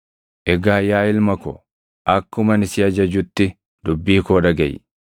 Egaa yaa ilma ko, akkuma ani si ajajutti dubbii koo dhagaʼi.